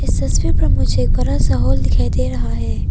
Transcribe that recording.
इस तस्वीर पर मुझे एक बड़ा सा हॉल दिखाई दे रहा है।